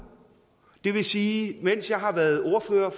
det vil sige mens jeg har været ordfører